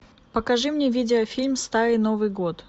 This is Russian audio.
покажи мне видеофильм старый новый год